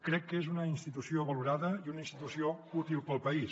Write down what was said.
crec que és una institució valorada i una institució útil per al país